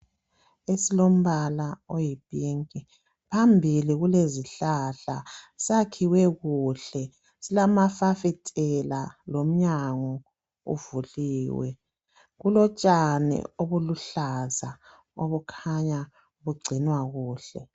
esilombala oyi pink phambili kulezihlahla sakhiwe kuhle silamafasitela lomnyango uvuliwe kulo tshani obuluhlaza obukhanya bugcinwa kuhle